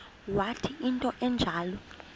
wathi into enjalo